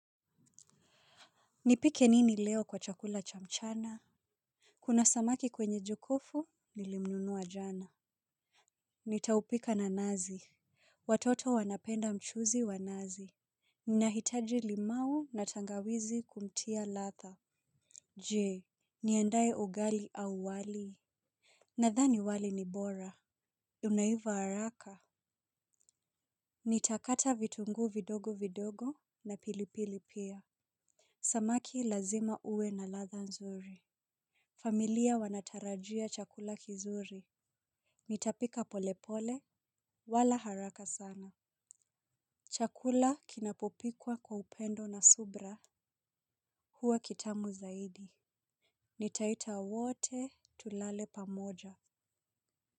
Nipike nini leo kwa chakula cha mchana? Kuna samaki kwenye jokofu, nilimnunua jana. Nitaupika na nazi. Watoto wanapenda mchuzi wa nazi. Ninahitaji limau na tangawizi kumtia ladha. Je, niandae ugali au wali? Nadhani wali ni bora. Unaiva haraka. Nitakata vitunguu vidogo vidogo na pilipili pia. Samaki lazima awe na ladha nzuri. Familia wanatarajia chakula kizuri. Nitapika polepole, wala haraka sana. Chakula kinapopikwa kwa upendo na subra huwa kitamu zaidi. Nitaita wote tulale pamoja.